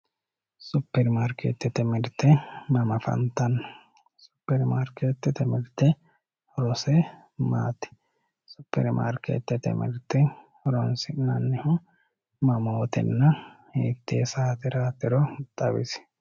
Super marketete mirte mama afantano super marketete mirte horose maati supermarketete mirte horonsinanihu mamootena hiite sateratiro xawisi